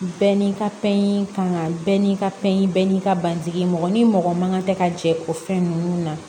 Bɛɛ n'i ka fɛn yi ka kan bɛɛ n'i ka fɛn yiyi bɛɛ ni ka basigi mɔgɔ ni mɔgɔ man kan tɛ ka jɛ o fɛn ninnu na